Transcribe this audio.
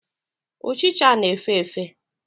Ochịcha na-efe efe.